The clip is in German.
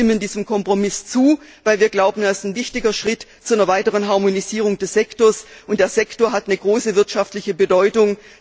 Wir stimmen diesem Kompromiss zu, weil wir glauben, dass das ein wichtiger Schritt zu einer weiteren Harmonisierung des Sektors ist, und der Sektor hat eine große wirtschaftliche Bedeutung.